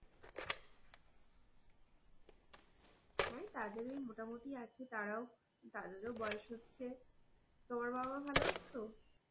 হম তাদের ওই মোটামোটি আছে তারাও তাদের ও বয়েস হচ্ছে তোমার মা বাবা ভালো আছে তো?